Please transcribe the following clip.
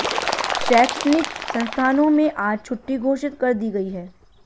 शैक्षणिक संस्थानों में आज छुट्टी घोषित कर दी गयी है